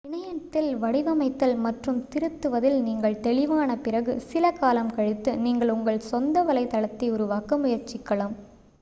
இணையத்தில் வடிவமைத்தல் மற்றும் திருத்துவதில் நீங்கள் தெளிவான பிறகு சில காலம் கழித்து நீங்கள் உங்கள் சொந்த வலைத்தளத்தை உருவாக்க முயற்சிக்கலாம்